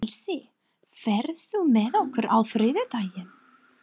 Elsí, ferð þú með okkur á þriðjudaginn?